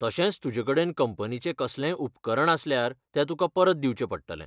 तशेंच तुजेकडेन कंपनीचें कसलेंय उपकरण आसल्यार तें तुका परत दिवचें पडटलें.